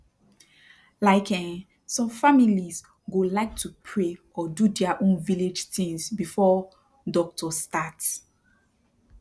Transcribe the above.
like eeh som families go like to pray or do their own village tins before doctor start